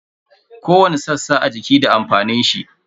Kowani sassa a jiki da amfanin shi.